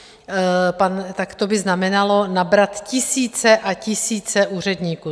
Tak to by znamenalo nabrat tisíce a tisíce úředníků.